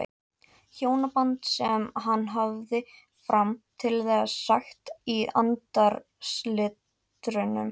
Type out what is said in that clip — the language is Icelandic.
Hjónaband sem hann hafði fram til þessa sagt í andarslitrunum.